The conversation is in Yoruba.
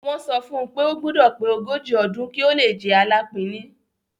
Wọ́n sọ fún un pé ó gbúdọ̀ pé ogójì ọdún kí ó le jẹ Alápinni.